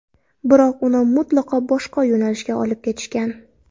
Biroq uni mutlaqo boshqa yo‘nalishga olib ketishgan.